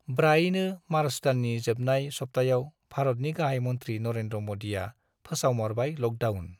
ब्रायनो March दाननि जोबनाय सप्ताहयाव भारतनि गाहाय मन्त्री नरेन्द्र मदीया फोसावमारबाय लकडाउन ।